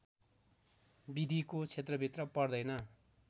विधिको क्षेत्रभित्र पर्दैन